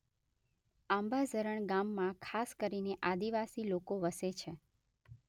આંબાઝરણ ગામમાં ખાસ કરીને આદિવાસી લોકો વસે છે.